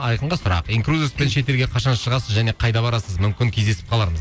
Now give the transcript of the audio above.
айқынға сұрақ инкрузеспен шетелге қашан шығасыз және қайда барасыз мүмкін кездесіп қалармыз